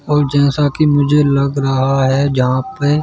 और जैसा कि मुझे लग रहा है जहां पे--